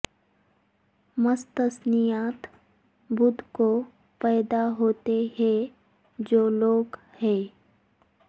مستثنیات بدھ کو پیدا ہوتے ہیں جو لوگ ہیں